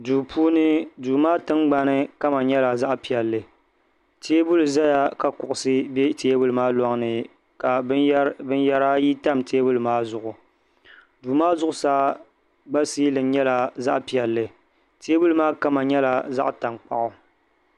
Duu puuni duu maa tiŋgbani kama nyɛla zaɣ’ piɛlli teebuli zaya ka kuɣusi be teebuli maa lɔŋ ni ka binyɛra ayi tam teebuli maa zuɣu duu maa zuɣusaa gba siilin nyɛla zaɣ’ piɛlli teebuli maa kama nyɛla zaɣ’ taŋkpaɣu